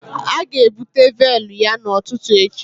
A ga-ebute véélu ya n'ụtụtụ echi